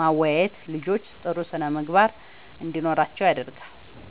ማወያየት ልጆች ጥሩ ስነ ምግባር እንዲኖራቸዉ ያደርጋል